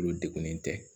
Olu degunnen tɛ